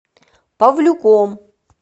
павлюком